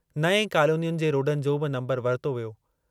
नएं कॉलोनियुनि जे रोडनि जो बि नम्बरु वरितो वियो।